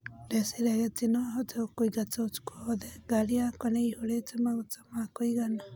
Ndeciragia ati nohote gũkũigata ũtuku wothe, ngari yakwa niyaihũrite maguta ma kũigana